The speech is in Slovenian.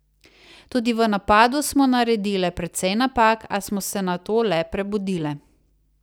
Tudi v napadu smo naredile precej napak, a smo se nato le prebudile.